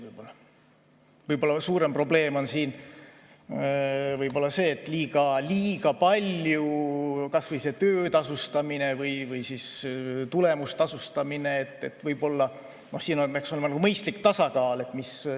Võib-olla suurem probleem on see, et kas või see töötasustamine või tulemustasustamine – siin peaks olema mõistlik tasakaal.